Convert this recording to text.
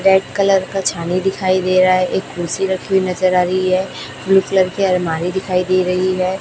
Red colour का छावनी दिखाई दे रहा है एक कुर्सी रखी हुई नजर आ रही है ब्लू कलर की अलमारी दिखाई दे रही है।